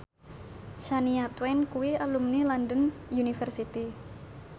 Shania Twain kuwi alumni London University